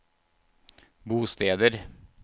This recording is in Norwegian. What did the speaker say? bosteder